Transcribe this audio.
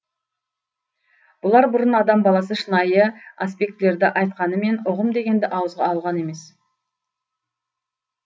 бұлар бұрын адам баласы шынайы аспектілерді айтқанымен ұғым дегенді ауызға алған емес